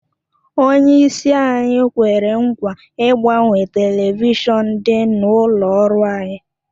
Onyeisi anyị kwere nkwa ịgbanwe telivishọn dị n'olu ọrụ anyị